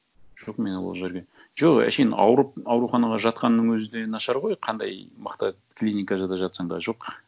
жоқ мен ол жерге жоқ әншейін ауырып ауруханаға жатқанның өзі де нашар ғой қандай мықты клиникада жатсаң да жоқ